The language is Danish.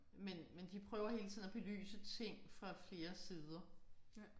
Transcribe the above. Men men de prøver hele tiden at belyse ting fra flere sider